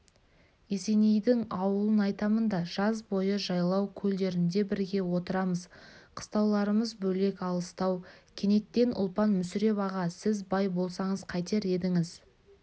есенейдің ауылын айтамын да жаз бойы жайлау көлдерінде бірге отырамыз қыстауларымыз бөлек алыстау кенеттен ұлпан мүсіреп аға сіз бай болсаңыз қайтер едіңіз